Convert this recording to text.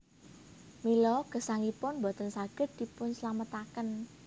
Mila gesangipun boten saged dipunslametaken